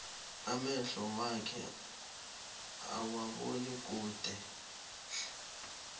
amehlo wakhe awaboni kude